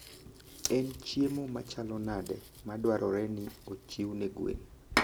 En chiemo machalo nade madwarore ni ochiw ne gwen?